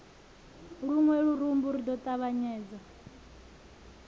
luṅwe lurumbu ri ḓo ṱavhanyedza